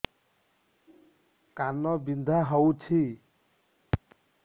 କାନ ବିନ୍ଧା ହଉଛି